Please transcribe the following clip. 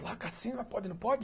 Placa assim, mas pode, não pode?